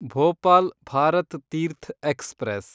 Bhopal Bharat Teerth express